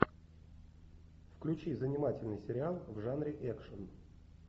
включи занимательный сериал в жанре экшн